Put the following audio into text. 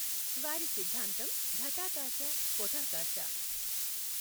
వారి సిద్ధాంతం ఘఠాకాశ పొఠాకాశ.